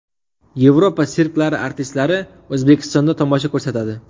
Yevropa sirklari artistlari O‘zbekistonda tomosha ko‘rsatadi.